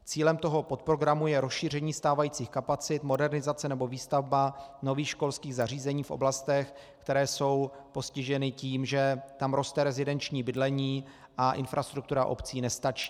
Cílem tohoto programu je rozšíření stávajících kapacit, modernizace nebo výstavba nových školských zařízení v oblastech, které jsou postiženy tím, že tam roste rezidenční bydlení a infrastruktura obcí nestačí.